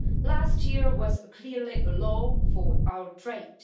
Last year was clearly a low for our trade.